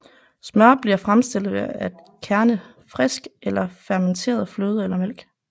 Smør bliver fremstillet ved at kærne frisk eller fermenteret fløde eller mælk